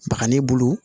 Baga ni bolo